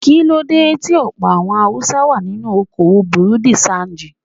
Kíló dé tí ọ̀pọ̀ àwọn Haúsá wá nínú okoòwò Bùrú dì ṣanjì.